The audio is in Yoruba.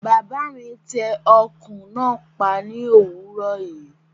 Bàbá mi tẹ ọkùn náà pa ní òwúrò yìí